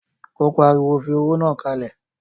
Ó pariwo, fi owó náà kalẹ̀!